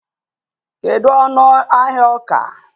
kedu ọnụ ahịa ọka?